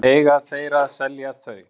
Eiga þeir að selja þau?